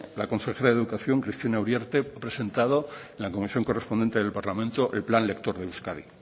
la consejera de educación cristina uriarte ha presentado en la comisión correspondiente del parlamento el plan lector de euskadi